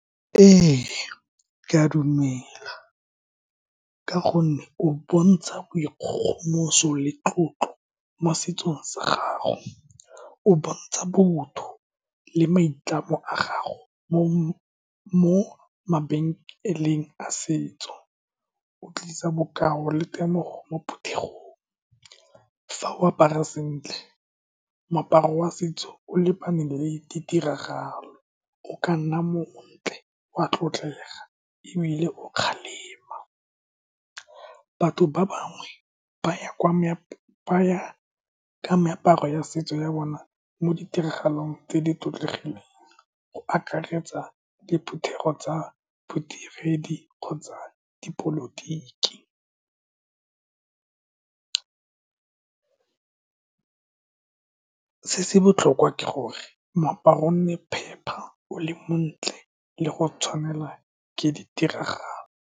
Ee, ke a dumela, ka gonne o bontsha boikgogomoso le tlotlo mo setsong sa gago. O bontsha botho le maitlamo a gago mo mabenkeleng a setso, o tlisa bokao le temogo mo phuthegong. Fa o apara sentle moaparo wa setso o lebane le ditiragalo, o ka nna montle, wa tlotlega, ebile o kgalema, batho ba bangwe ba ya kwa ba ya ka meaparo ya setso ya bona mo ditiragalong tse di tlotlegileng, go akaretsa diphuthego tsa bodiredi kgotsa dipolotiki. Se se botlhokwa ke gore moaparo o nne phepa, o le montle, le go tshwanelwa ke ditiragalo.